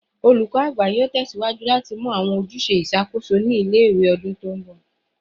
Olukọ Agba yoo tẹsiwaju lati mu awọn ojuse iṣakoso ni ọdun ile-iwe ti nbọ